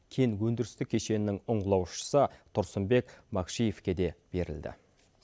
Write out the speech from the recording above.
кен өндірістік кешенінің ұңғылаушысы тұрсынбек макшиевке де берілді